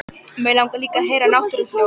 Mig langar líka að heyra náttúruhljóð.